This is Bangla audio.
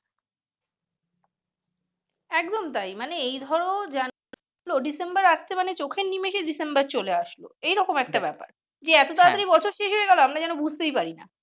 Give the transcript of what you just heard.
একদম তাই মানে এই ধরো জানুয়ারি এলো চোখের নিমেষে ডিসেম্বর চলে আসলো এই রকম একটা ব্যাপার যে এত তাড়াতাড়ি বছর শেষ হয়ে গেল আমরা যেনো বুঝতেই পারি না।